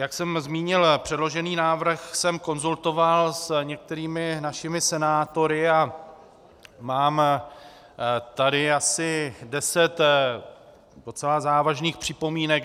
Jak jsem zmínil, předložený návrh jsem konzultoval s některými našimi senátory a mám tady asi deset docela závažných připomínek.